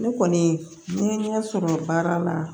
Ne kɔni ne ye ɲɛ sɔrɔ baara la